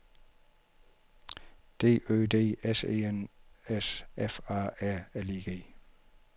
D Ø D S E N S F A R L I G